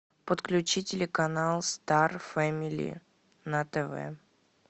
подключи телеканал стар фэмили на тв